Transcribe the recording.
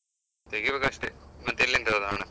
ತೆಗಿಬೇಕ್ ಅಷ್ಟೇ, ಮತ್ತ್ ಎಲ್ಲಿಂದ ತರುದ್ ಹಣ?